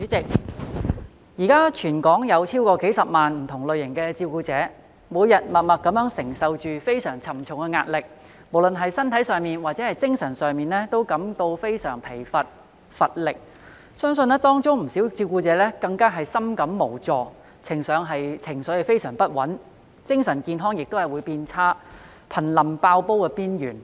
代理主席，現時全港有超過數十萬名不同類型的照顧者，每天默默地承受着非常沉重的壓力，無論是身體上或精神上均感到非常疲乏無力，相信當中不少照顧者更深感無助，情緒非常不穩，以致精神健康變差，瀕臨"爆煲"邊緣。